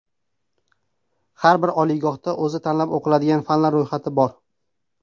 Har bir oliygohda o‘z tanlab o‘qiladigan fanlar ro‘yxati bor.